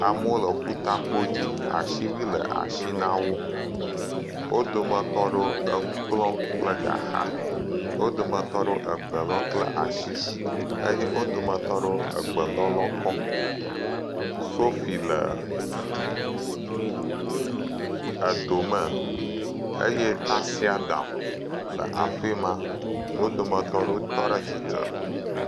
Amewo le ƒuta kpodzi asiwui le asi na wo, wo dometɔ aɖewo le nu kplɔm kple gaxa, wo dometɔ aɖewo egbe lɔm kple asi, wo dometɔ aɖewo egbe lɔlɔ kɔ sofi le edo me eye tasiadam le afi ma wo dometɔ aɖewo tɔ ɖe tsitre.